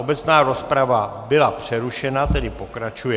Obecná rozprava byla přerušena, tedy pokračuje.